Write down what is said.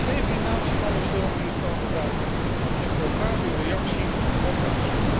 Geef die natie alle steun die ze kan gebruiken en ik hoor graag uw reactie op mijn verzoek.